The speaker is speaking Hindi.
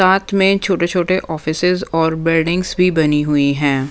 साथ में छोटे-छोटे ऑफिसेस और बिल्डिंग्स भी बनी हुई हैं।